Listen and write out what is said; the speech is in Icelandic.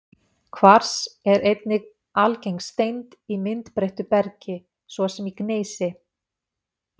Kvars er einnig algeng steind í myndbreyttu bergi, svo sem í gneisi.